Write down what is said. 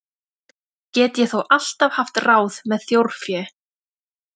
Get ég þó alltaf haft ráð með þjórfé.